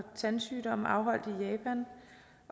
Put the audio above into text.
tandsygdomme afholdt i japan